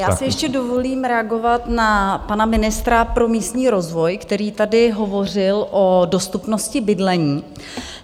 Já si ještě dovolím reagovat na pana ministra pro místní rozvoj, který tady hovořil o dostupnosti bydlení.